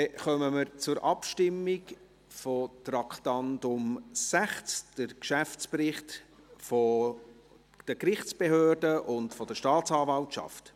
Dann kommen wir unter dem Traktandum 60 zur Abstimmung über den Geschäftsbericht 2018 der Gerichtsbehörden und der Staatsanwaltschaft.